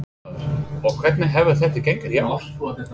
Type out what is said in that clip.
Fréttamaður: Og hvernig hefur þetta gengið í ár?